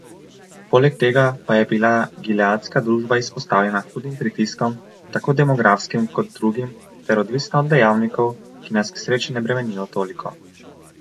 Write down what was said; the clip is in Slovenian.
Poleg tega pa je bila gileadska družba izpostavljena hudim pritiskom, tako demografskim kot drugim, ter odvisna od dejavnikov, ki nas k sreči ne bremenijo toliko.